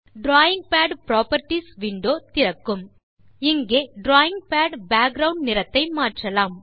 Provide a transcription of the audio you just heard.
drawing pad properties window திறக்கும் இங்கு drawing pad background நிறத்தை மாற்றலாம்